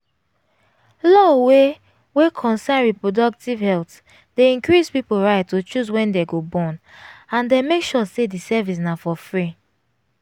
law wey wey concern reproductive health dey increse people right to choose wen dem go bornand dem make sure say the service na for free